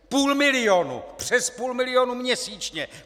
Půl milionu: Přes půl milionu měsíčně!